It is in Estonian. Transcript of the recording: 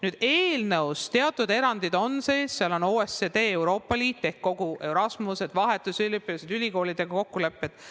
Nüüd, teatud erandid on eelnõus sees, seal on OECD, Euroopa Liit, kogu Erasmus, vahetusüliõpilased, ülikoolidega sõlmitud kokkulepped.